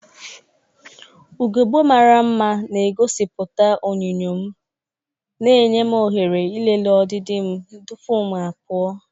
Ugogbe mara mma na-egosipụta onyinyo m, na-enye m ohere ịlele ọdịdị m tupu m apụ.